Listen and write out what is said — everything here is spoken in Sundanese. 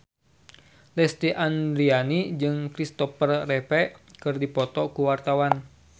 Lesti Andryani jeung Kristopher Reeve keur dipoto ku wartawan